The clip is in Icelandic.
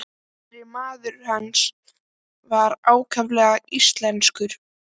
Innri maður hans var ákaflega íslenskur.